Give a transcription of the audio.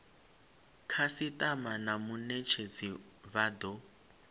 khasitama na munetshedzi vha do